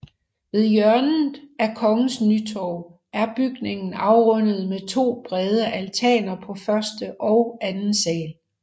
Ved hjørnet af Kongens Nytorv er bygningen afrundet med to brede altaner på første og anden sal